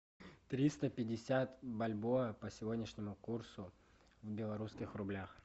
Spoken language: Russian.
триста пятьдесят бальбоа по сегодняшнему курсу в белорусских рублях